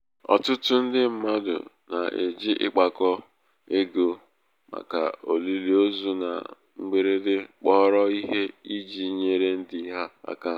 ọtụtụ ndị mmadụ na-eji ịkpakọ ịkpakọ ego màkà olili ozu na mgberede kpọrọ ihe iji nyere ndị ha aka.